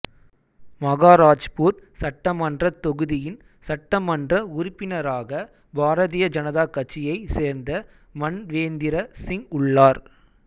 மகாராஜ்பூர் சட்டமன்றத் தொகுதியின் சட்டமன்ற உறுப்பினராக பாரதிய ஜனதா கட்சியைச் சேர்ந்த மன்வேந்திர சிங் உள்ளார்